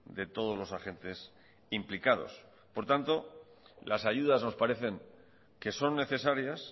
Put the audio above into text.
de todos los agentes implicados por lo tanto las ayudas nos parecen que son necesarias